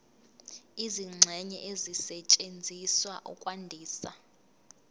izingxenye ezisetshenziswa ukwandisa